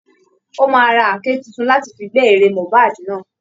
Ó máa ra àáké tuntun láti fi gbẹ́ ere Mohbad náà